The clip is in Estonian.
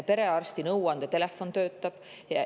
Perearsti nõuandetelefon töötab.